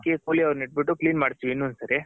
ಅದಕ್ಕೆ ಕೂಲಿ ಅವ್ರನ್ ಇಟ್ ಬಿಟ್ಟು clean ಮಾಡ್ಸ್ತಿವಿ ಇನ್ನೊಂದ್ ಸರಿ.